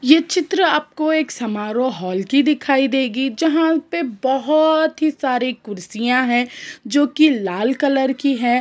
ये चित्र आपको एक समारोह हॉल की दिखाई देगी जहाँ पे बहुत सी कुर्सियां है जो की लाल कलर की है।